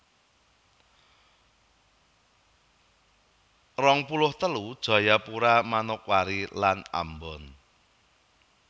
rong puluh telu Jayapura Manokwari lan Ambon